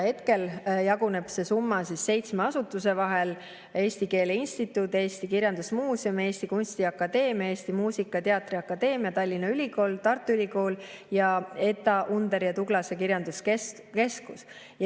Hetkel jaguneb see summa seitsme asutuse vahel: Eesti Keele Instituut, Eesti Kirjandusmuuseum, Eesti Kunstiakadeemia, Eesti Muusika- ja Teatriakadeemia, Tallinna Ülikool, Tartu Ülikool ja ETA Underi ja Tuglase Kirjanduskeskus.